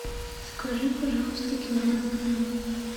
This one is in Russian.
закажи пожалуйста килограмм помидоров